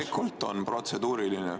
Loomulikult on protseduuriline.